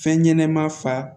Fɛn ɲɛnɛma fa